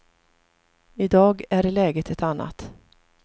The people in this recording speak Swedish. I dag är läget ett annat.